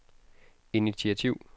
initiativ